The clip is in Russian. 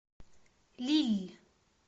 лилль